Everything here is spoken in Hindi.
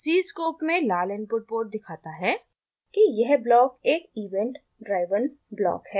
cscope में लाल इनपुट पोर्ट दिखाता है कि यह ब्लॉक एक event driven ब्लॉक है